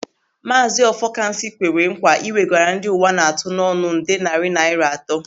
Maazị Ọfọkansị kwere nkwa ị wegara ndị uwa na-atụ n'ọnụ nde narị naira atọ.